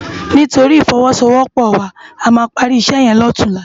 Nitóri ifòwòsówòpò wá àmá pári isè yèn lòtúnlá